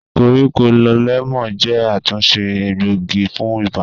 Koríko lẹmọọn jẹ atunṣe egboigi fun iba